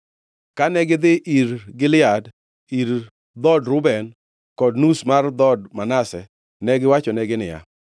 Kane gidhi Gilead, ir dhood Reuben, Gad kod nus mar dhood Manase, negiwachonegi niya,